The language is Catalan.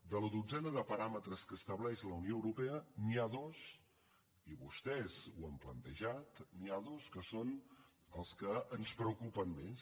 de la dotzena de paràmetres que estableix la unió europea n’hi ha dos i vostès ho han plantejat n’hi ha dos que són els que ens preocupen més